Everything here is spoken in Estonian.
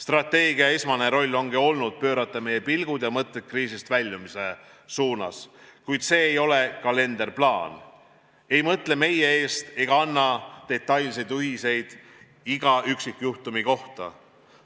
Strateegia esmane roll ongi olnud pöörata meie pilgud ja mõtted kriisist väljumise suunas, kuid see ei ole kalenderplaan, see ei mõtle meie eest ega anna detailseid juhiseid iga üksikjuhtumi kohta.